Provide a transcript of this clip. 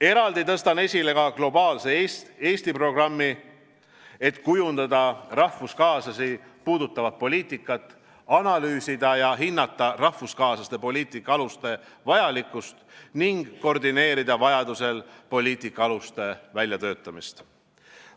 Eraldi tõstan esile ka Globaalse Eesti programmi, et kujundada rahvuskaaslasi puudutavat poliitikat, analüüsida ja hinnata rahvuskaaslaste poliitika aluste vajalikkust ning koordineerida vajadusel poliitika aluste väljatöötamist.